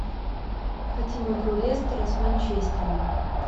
хотим игру лестера с манчестером